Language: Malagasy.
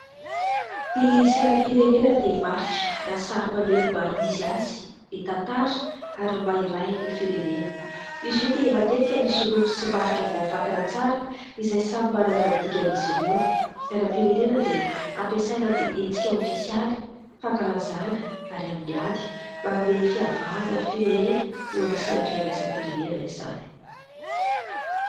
Ny sainam-pirenena dia marika na sary maneho ny maha-izy azy, ny tantara ary maha-iray ny firenena. Izy io dia matetika misy loko sy marika voafantina tsara, izay samy manana ny dikany izy ireo. Ny sainam-pirenena dia ampiasaina amin'ny hetsika ofisialy, fankalazana ary amin'ny ady, mba hanome fiavahana ny firenena eo amin'ny sehatra iraisam-pirenena izany.